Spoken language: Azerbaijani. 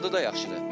Dadı da yaxşıdır.